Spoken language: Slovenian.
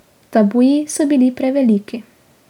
Tabuji so bili preveliki.